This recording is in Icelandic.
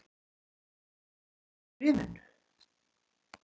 En hvað stóð í bréfinu?